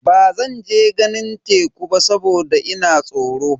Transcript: Bazan je ganin teku ba saboda ina tsoro.